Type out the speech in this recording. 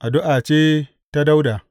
Addu’a ce ta Dawuda.